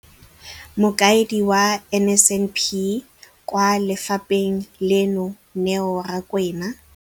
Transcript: Mokaedi wa NSNP kwa lefapheng leno, Neo Rakwena,